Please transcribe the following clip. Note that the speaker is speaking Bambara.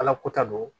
Ala ko ta don